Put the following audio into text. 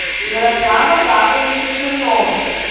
ярослава павловича чернова